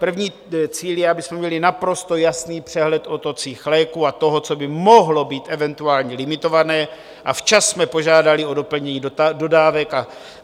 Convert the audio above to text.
První cíl je, abychom měli naprosto jasný přehled o tocích léků a toho, co by mohlo být eventuálně limitované, a včas jsme požádali o doplnění dodávek.